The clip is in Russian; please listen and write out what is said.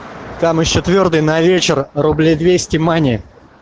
там ещё твёрдый на вечер рублей двести мани